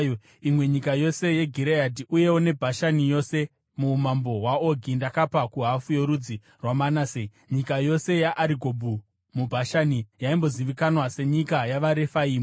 Imwe nyika yose yeGireadhi uyewo neBhashani yose, muumambo hwaOgi ndakapa kuhafu yorudzi rwaManase. (Nyika yose yeArigobhu muBhashani yaimbozivikanwa senyika yavaRefaimu.